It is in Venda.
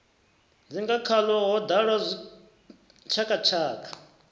dzinga khaḽo ho ḓala zwitshakatshaka